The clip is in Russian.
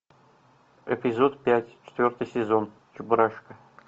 эпизод пять четвертый сезон чебурашка